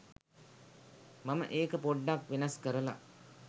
මම ඒක පොඩ්ඩක් වෙනස් කරල